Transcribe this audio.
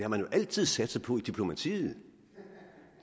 har man jo altid satset på i diplomatiet